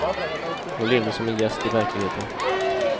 Hon levde som en gäst i verkligheten.